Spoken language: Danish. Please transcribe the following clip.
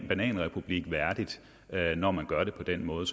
bananrepublik værdigt når man gør det på den måde